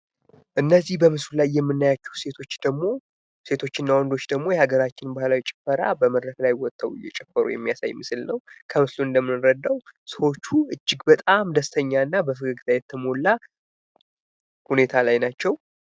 እነዚህ በምስሉ ላይ የምናያቸው ሴቶች እና ወንዶች ደሞ በሃገራችን ባህላዊ ጭፈራ በመድረክ ላይ ወጥተው እየጨፈሩ ናቸው ፤ እንደምናያቸው ሰዎቹ እጅግ በጣም ደስተኛ እና በፈገግታ የተሞላ ሁኔታ ላይ ናቸው።